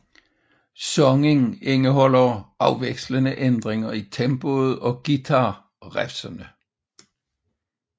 Sangen indeholder afvekslende ændringer i tempoet og guitar riffsene